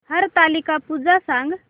हरतालिका पूजा सांग